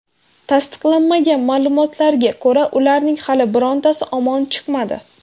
Tasdiqlanmagan ma’lumotlarga ko‘ra, ularning hali birontasi omon chiqmadi.